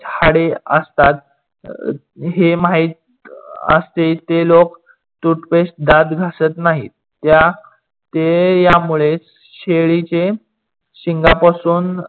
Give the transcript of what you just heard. हाडे असतात. हे माहीत असे जे लोक toothpaste दात घासत नाही त्या ते यामुळे शेळीचे शिंगापासून